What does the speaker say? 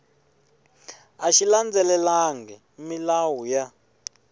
a xi landzelelangi milawu ya